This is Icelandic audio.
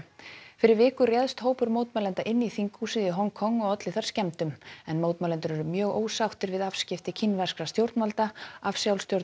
fyrir viku réðst hópur mótmælenda inn í þinghúsið í Hong Kong og olli þar skemmdum en mótmælendur eru mjög ósáttir við afskipti kínverskra stjórnvalda af